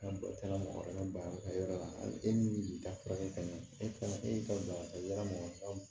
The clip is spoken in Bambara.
e min ka furakɛ ka ɲɛ e kana e y'i ka boli ka taa yarama san